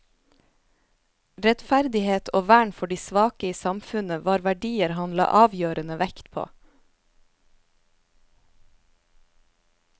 Rettferdighet og vern for de svake i samfunnet var verdier han la avgjørende vekt på.